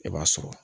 I b'a sɔrɔ